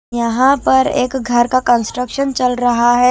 यहां पर एक घर का कंस्ट्रक्शन चल रहा है।